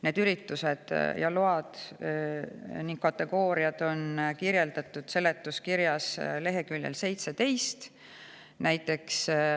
Need üritused ja load ning kategooriad on kirjas seletuskirjas leheküljel 17.